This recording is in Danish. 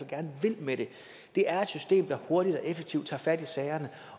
gerne vil med det er at systemet hurtigt og effektivt tager fat i sagerne